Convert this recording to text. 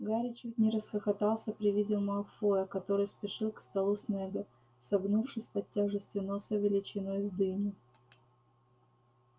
гарри чуть не расхохотался при виде малфоя который спешил к столу снегга согнувшись под тяжестью носа величиной с дыню